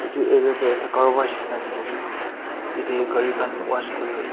edu area tae ekta carwash nishina dikhiase yate gari khan wash kur--